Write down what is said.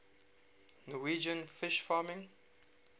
norwegian fish farming